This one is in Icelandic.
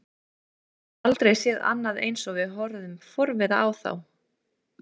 Við höfðum aldrei séð annað eins og horfðum forviða á þá.